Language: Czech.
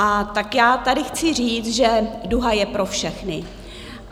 A tak já tady chci říct, že duha je pro všechny.